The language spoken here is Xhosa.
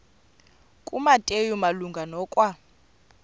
kumateyu malunga nokwa